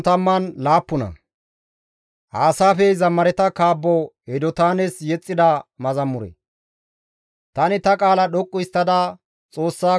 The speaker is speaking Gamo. Tani ta qaala dhoqqu histtada Xoossako waassays; tana siyana mala ta iza woossays.